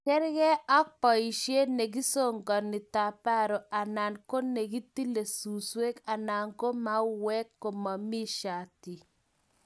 Kerkei ak boisie ne kisokoni taparo anan ko ne kitile suswe anan ko maue komomii shatii.